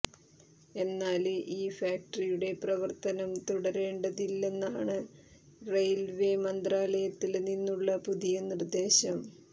എന്നാല് ഈ ഫാക്ടറിയുടെ പ്രവര്ത്തനം തുടരേണ്ടതില്ലെന്നാണ് റെയില്വ്വേ മന്ത്രാലയത്തില് നിന്നുള്ള പുതിയ നിര്ദേശം